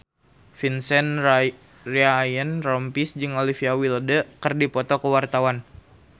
Vincent Ryan Rompies jeung Olivia Wilde keur dipoto ku wartawan